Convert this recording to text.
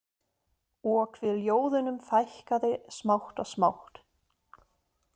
Og hve ljóðunum fækkaði smátt og smátt.